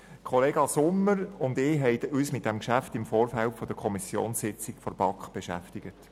Kollege Sommer und ich haben uns mit diesem Geschäft im Vorfeld der Kommissionssitzung der BaK beschäftigt.